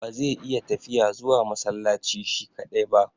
Ba zai iya tafiya zuwa masallaci shi kaɗai ba.